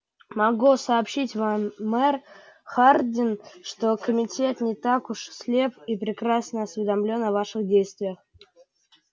могу сообщить вам мэр хардин что комитет не так уж слеп и прекрасно осведомлен о ваших действиях